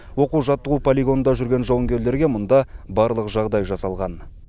оқу жаттығу полигонында жүрген жауынгерлерге мұнда барлық жағдай жасалған